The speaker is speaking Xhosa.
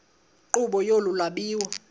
nkqubo yolu lwabiwo